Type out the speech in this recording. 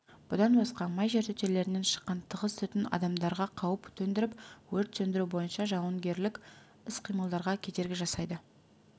бұдан басқа май жертөлелерінен шыққан тығыз түтін адамдарға қауіп төндіріп өрт сөндіру бойынша жауынгерлік іс-қимылдарға кедергі жасай